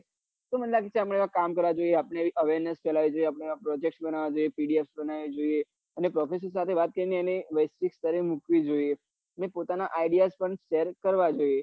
તે મન લાગે કામ કરાવું આપડી awareness ફેલાવી જોઈએ project બનાવવા જોઈએ PDF બનાવવી જોઈએ અને profeser જોડે વાત કરી એને વેશ્વિક સ્તરે મુકવી જોઈએ અને પોતાના idea પન share કરવા જોઈએ